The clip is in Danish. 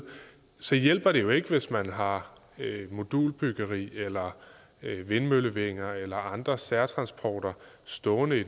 så hjælper det jo ikke hvis man har modulbyggeri eller vindmøllevinger eller andre særtransporter stående i